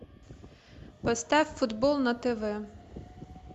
поставь футбол на тв